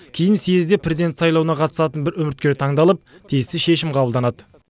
кейін съезде президент сайлауына қатысатын бір үміткер таңдалып тиісті шешім қабылданады